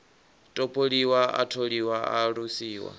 topoliwa a tholiwa a alusiwa